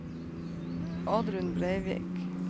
Oddrun Breivik